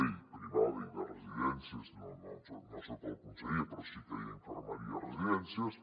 privada i de residències no en soc el conseller però sí que hi ha infermeria a les residències